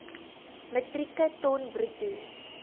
metrieke ton bruto